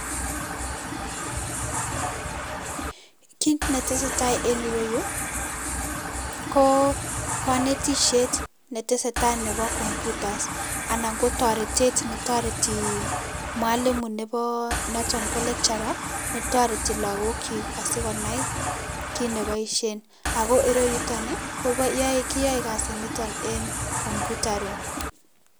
Kiit netesetaa en yuu ko konetishet netesetai neboo computers anan ko toretet netoreti mwalimu noton ko lecturer netoreti lokokyik asikonai kiit neboishen ak ko ireyuton kiyoe kasiniton en computer room.